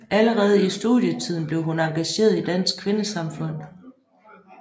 Allerede i studietiden blev hun engageret i Dansk Kvindesamfund